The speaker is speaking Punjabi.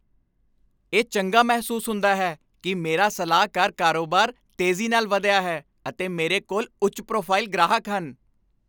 ਇਹ ਚੰਗਾ ਮਹਿਸੂਸ ਹੁੰਦਾ ਹੈ ਕੀ ਮੇਰਾ ਸਲਾਹਕਾਰ ਕਾਰੋਬਾਰ ਤੇਜ਼ੀ ਨਾਲ ਵਧਿਆ ਹੈ, ਅਤੇ ਮੇਰੇ ਕੋਲ ਉੱਚ ਪ੍ਰੋਫਾਈਲ ਗ੍ਰਾਹਕ ਹਨ